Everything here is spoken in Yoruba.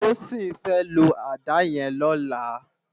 Toyin fè ló àdá yèn lòlá